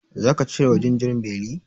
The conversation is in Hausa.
Zaka cire wa jinjirin beli?